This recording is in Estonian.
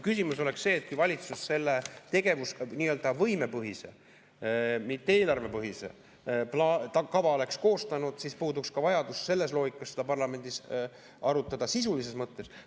Küsimus oleks see, et kui valitsus selle nii-öelda võimepõhise, mitte eelarvepõhise kava oleks koostanud, siis puuduks ka vajadus selles loogikas seda parlamendis arutada sisulises mõttes.